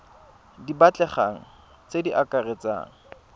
di batlegang tse di akaretsang